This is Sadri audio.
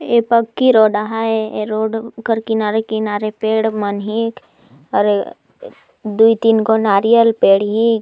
ए पक्की रोड आ हैं ए रोड कर किनारे-किनारे पेड़ मन हेक और ए दुई तीन गो नारियल पेड़ हिक--